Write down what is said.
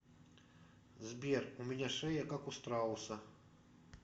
сбер у меня шея как у страуса